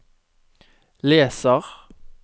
leser